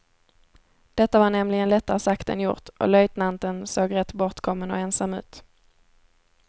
Detta var nämligen lättare sagt än gjort, och löjtnanten såg rätt bortkommen och ensam ut.